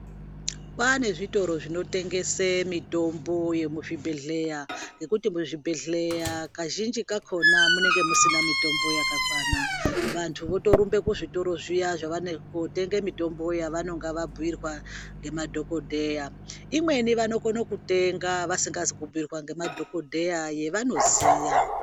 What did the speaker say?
Kwava nezvitoro zvinotengesa mitombo yemuzvibhedhlera nekuti muzvibhedhlera kazhinji kachona kunenge kusina mitombo yakakwana vantu votorumba kuzvitoro zviya kunotenge mitombo yavanenge vabhuyirwa nemadhokodheya imweni vanokone kutenga vasingazi kubhuirwa ngemadhokodheya yevanoziya.